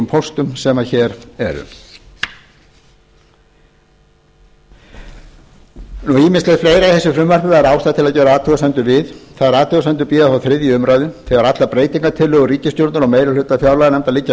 póstum sem hér eru ýmislegt fleira í þessu frumvarpi væri ástæða til að gera athugasemdir við þær athugasemdir bíða þó þriðju umræðu þegar allar breytingartillögur ríkisstjórnar og meiri hluta fjárlaganefndar liggja